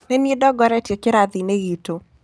Nĩ niĩ ndongoretie kĩrathi-inĩ gĩtũ.